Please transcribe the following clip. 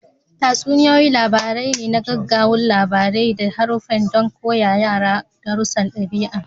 Tatsuniyoyi labarai ne na ƙagaggun labarai da haruffa don koya wa yara darussan ɗabi'a.